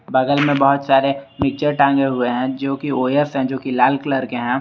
बगल में बहोत सारे पिक्चर टांगे हुए हैं जो की ओ_एस है जो की लाल कलर के हैं।